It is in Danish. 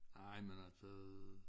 Nej men altså